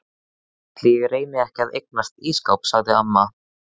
Ætli ég reyni ekki að eignast ísskáp sagði amma.